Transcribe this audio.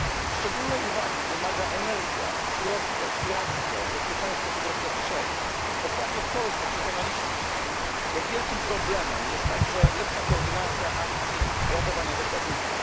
Szczególnej uwagi wymaga energia, surowce, piractwo, bezpieczeństwo cyberprzestrzeni. Ostatnio w Polsce przekonaliśmy się jak wielkim problemem jest także lepsza koordynacja akcji ratowania zakładników.